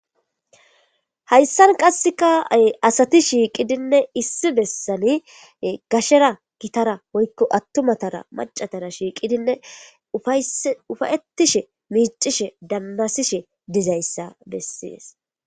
hayssan qassekaay asati shiiqidinne issi bessani gashera gitara oykko attumatara macatara shiiqidinne ufayettishe miicishe dannasishe dizayssa bessies